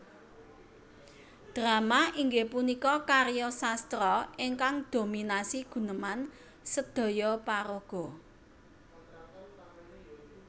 Drama inggih punika karya sastra ingkang dominasi guneman sedhoyo paraga